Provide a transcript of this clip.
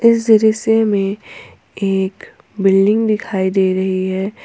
इस दृश्य में एक बिल्डिंग दिखाई दे रही है।